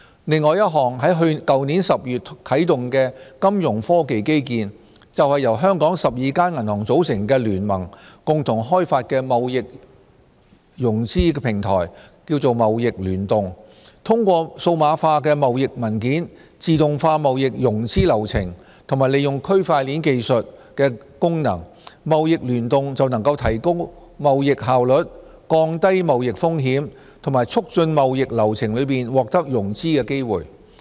另一項在去年10月啟動的金融科技基建，就是由香港12間銀行組成的聯盟共同開發的貿易融資平台"貿易聯動"。通過數碼化貿易文件，自動化貿易融資流程和利用區塊鏈技術的功能，"貿易聯動"能提高貿易效率，降低貿易風險和促進貿易流程中獲得融資的機會。